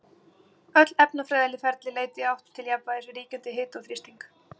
Engin ánægja að hækka gjaldskrár